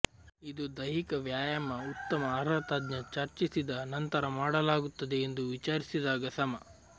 ಇದು ದೈಹಿಕ ವ್ಯಾಯಾಮ ಉತ್ತಮ ಅರ್ಹ ತಜ್ಞ ಚರ್ಚಿಸಿದ ನಂತರ ಮಾಡಲಾಗುತ್ತದೆ ಎಂದು ವಿಚಾರಿಸಿದಾಗ ಸಮ